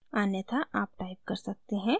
अन्यथा आप टाइप कर सकते हैं: